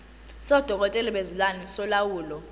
sodokotela bezilwane solawulo